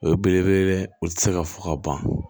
O ye belebele u tɛ se ka fɔ ka ban